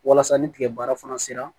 Walasa ni tigɛ baara fana sera